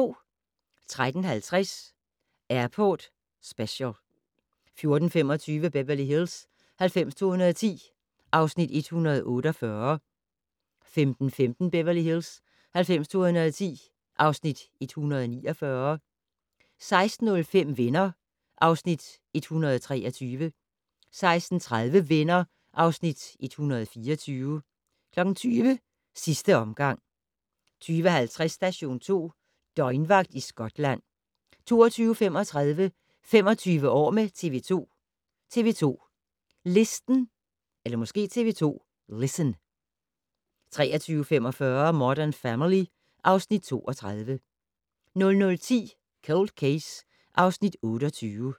13:50: Airport Special 14:25: Beverly Hills 90210 (Afs. 148) 15:15: Beverly Hills 90210 (Afs. 149) 16:05: Venner (Afs. 123) 16:30: Venner (Afs. 124) 20:00: Sidste omgang 20:50: Station 2: Døgnvagt i Skotland 22:35: 25 år med TV 2: TV 2 Listen 23:45: Modern Family (Afs. 32) 00:10: Cold Case (Afs. 28)